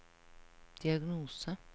diagnose